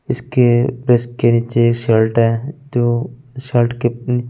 उसके प्रेस के नीचे शर्ट है जो शर्ट के अम्म --